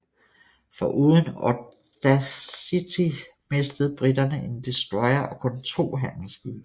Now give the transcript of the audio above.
Foruden Audacity mistede briterne en destroyer og kun to handelsskibe